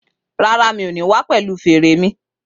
Rárá, mi ò ní wá pẹ̀lu fèrè mi